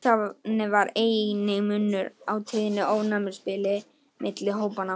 Þannig var enginn munur á tíðni ofnæmis milli hópanna.